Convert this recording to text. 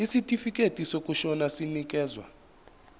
isitifikedi sokushona sinikezwa